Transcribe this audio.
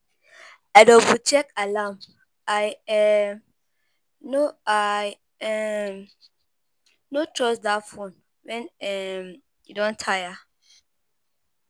I double-check alarm, um I um no trust that phone when [um]e don tire.